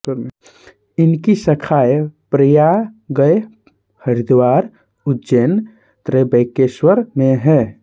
इनकी शाखाएं प्रयागए हरिद्वार उज्जैन त्र्यंबकेश्वर में हैं